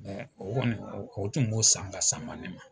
O kɔni o tun b'o san ka sama ne ma